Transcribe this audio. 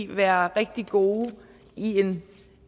være rigtig gode i en